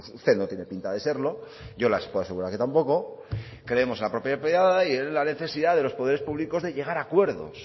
usted no tiene pinta de serlo yo les puedo asegurar que tampoco creemos en la propiedad privada y en la necesidad de los poderes públicos de llegar a acuerdos